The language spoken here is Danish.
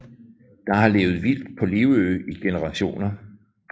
Der har levet vildt på Livø i generationer